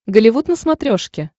голливуд на смотрешке